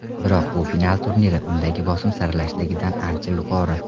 Biroq bu final turniri, undagi bosim saralashdagidan ancha yuqori.